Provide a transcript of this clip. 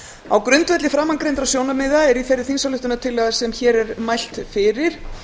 á grundvelli framangreindra sjónarmiða er í þeirri þingsályktunartillögu sem hér er mælt fyrir